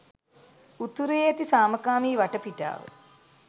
උතුරේ ඇති සාමකාමී වටපිටාව